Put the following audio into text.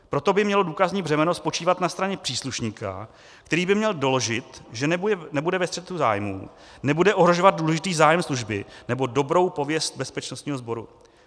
Proto by mělo důkazní břemeno spočívat na straně příslušníka, který by měl doložit, že nebude ve střetu zájmů, nebude ohrožovat důležitý zájem služby nebo dobrou pověst bezpečnostního sboru.